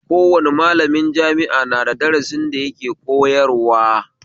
Kowane malami jami'a na da darasin da yake koyarwa